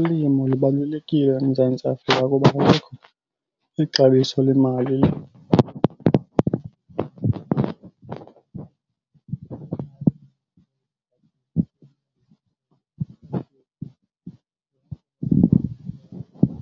Ulimo libalulekile eMzantsi Afrika kuba kaloku ixabiso lemali